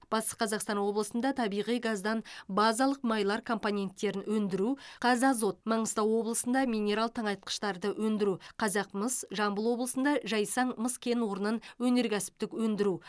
батыс қазақстан облысында табиғи газдан базалық майлар компоненттерін өндіру қазазот маңғыстау облысында минерал тыңайтқыштарды өндіру қазақмыс жамбыл облысында жайсаң мыс кен орнын өнеркәсіптік өндіру